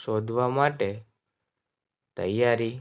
શોધવા માટે તૈયારી